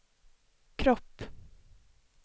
kropp